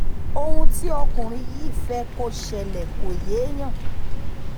ohun tí ọkùnrin yìí fẹ́ kó ṣẹlẹ̀ kò yéèyàn